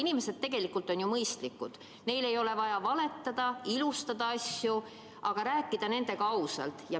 Inimesed on tegelikult ju mõistlikud, neile ei ole vaja valetada ega asju ilustada, nendega tuleb ausalt rääkida.